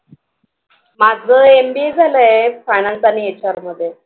माझं MBA झालंय finance आणि HR मध्ये